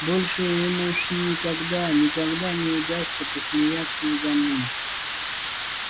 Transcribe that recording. больше им уж никогда никогда не удастся посмеяться надо мной